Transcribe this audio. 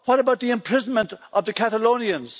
What about the imprisonment of the Catalonians?